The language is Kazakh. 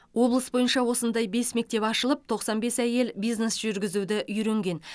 облыс бойынша осындай бес мектеп ашылып тоқсан бес әйел бизнес жүргізуді үйренген